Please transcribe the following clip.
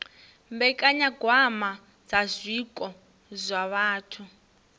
mbekanyagwama dza zwiko zwa vhathu